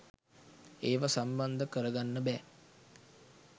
ඒව සම්බන්ධ කර ගන්න බෑ.